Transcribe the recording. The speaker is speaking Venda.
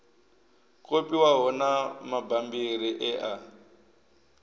kopiwaho na mabammbiri e a